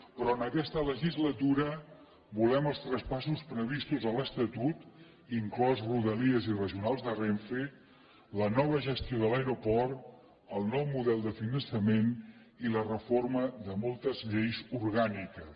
però en aquesta legislatura volem els traspassos previstos a l’estatut inclosos rodalies i regionals de renfe la nova gestió de l’aeroport el nou model de finançament i la reforma de moltes lleis orgàniques